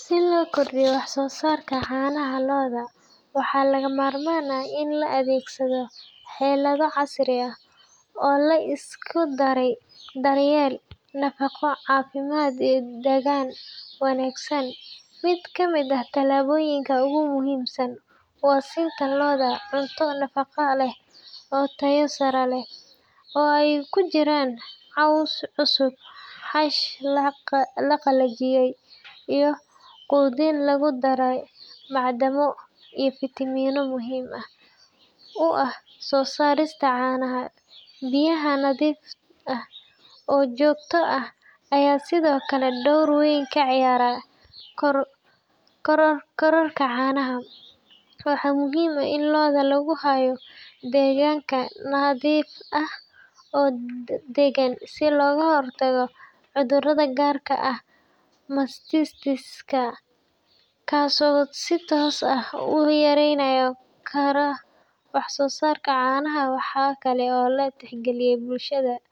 Si loo kordhiyo wax-soo-saarka caanaha lo’da, waxaa lagama maarmaan ah in la adeegsado xeelado casri ah oo la isku daray daryeel, nafaqo, caafimaad iyo deegaan wanaagsan. Mid ka mid ah tallaabooyinka ugu muhiimsan waa siinta lo’da cunto nafaqo leh oo tayo sare leh, oo ay ku jiraan caws cusub, xash la qalajiyey, iyo quudin lagu daray macdano iyo fiitamiino muhiim u ah soo saarista caanaha. Biyaha nadiif ah oo joogto ah ayaa sidoo kale door weyn ka ciyaara kororka caanaha. Waxaa muhiim ah in lo’da lagu hayo deegaanka nadiif ah oo deggan si looga hortago cudurrada gaar ahaan mastitis-ka, kaasoo si toos ah u yareyn kara wax-soo-saarka caanaha. Waxaa kale oo la tixgeliyaa